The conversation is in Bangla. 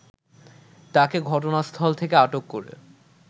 তাকে ঘটনাস্থল থেকে আটক করে